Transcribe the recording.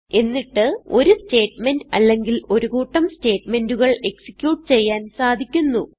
എന്നിട്ട് ഒരു സ്റ്റേറ്റ്മെന്റ് അല്ലെങ്കിൽ ഒരു കൂട്ടം സ്റ്റേറ്റ്മെന്റുകൾ എക്സിക്യൂട്ട് ചെയ്യാൻ സാധിക്കുന്നു